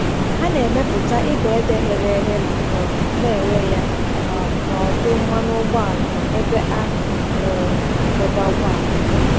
Ha na-emepụta ibe ede ghere eghe ma um na-ere ya um n’ọdụ mmanụ ụgbọala na ebe a um na-adọba ụgbọala.